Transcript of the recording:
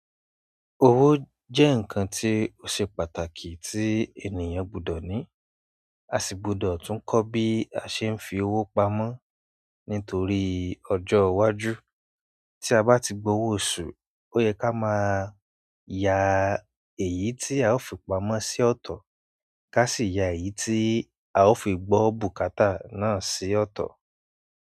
Owó jẹ́ ǹkan tí ó ṣe pàtàkì tí ènìyàn gbọdọ̀ ni. A sì gbọdọ̀ tún kọ́ bí a ṣe ń fi owó pamọ́ nítorí ọjọ́ iwájú. Tí a bá ti gbowó ọ̀su, ó yẹ ká máa ya èyí tí a ó fi pamọ́ sí ọ̀tọ̀, ká sì ya èyí tí a ó fi gbọ́ bùkátà náà sí ọ̀tọ̀.